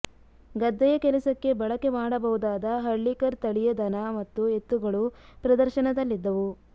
ಗದ್ದೆಯ ಕೆಲಸಕ್ಕೆ ಬಳಕೆ ಮಾಡಬಹುದಾದ ಹಳ್ಳಿಕರ್ ತಳಿಯ ದನ ಮತ್ತು ಎತ್ತುಗಳು ಪ್ರದರ್ಶನದಲ್ಲಿದ್ದವು